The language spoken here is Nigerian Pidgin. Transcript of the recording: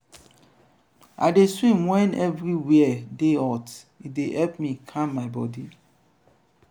i dey swim wen everywhere dey hot e dey help calm my bodi.